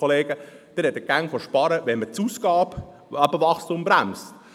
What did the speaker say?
Sie sprechen immer von sparen, wenn man das Ausgabenwachstum bremst.